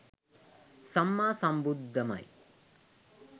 සම්මා සම්බුද්ධමයි.